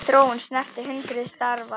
Þessi þróun snerti hundruð starfa.